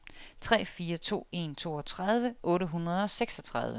tre fire to en toogtredive otte hundrede og seksogtredive